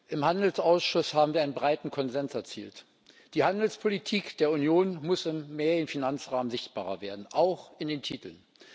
Im Handelsausschuss haben wir einen breiten Konsens erzielt Die Handelspolitik der Union muss im mehrjährigen Finanzrahmen sichtbarer werden, auch in den Titeln.